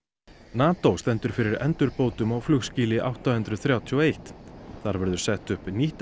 NATO stendur fyrir endurbótum á flugskýli átta hundruð þrjátíu og eitt þar verður sett upp nýtt